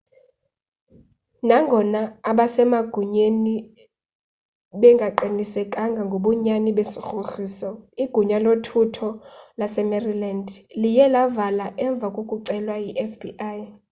nangona abasemagunyeni bengaqinisekanga ngobunyani besigrogriso igunya lothutho lasemaryland liye lavala emva kokucelwa yifbi